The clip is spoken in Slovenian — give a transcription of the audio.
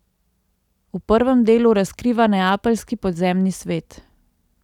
V prvem delu razkriva neapeljski podzemni svet.